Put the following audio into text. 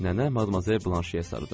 Nənə Madmazel Blanşeyə sarı döndü.